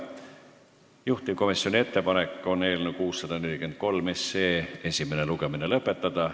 Juhtivkomisjoni ettepanek on eelnõu 643 esimene lugemine lõpetada.